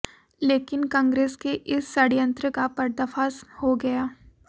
लेकिन कांग्रेस के इस षड्यंत्र का पर्दाफाश हो गया